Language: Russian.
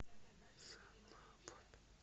салават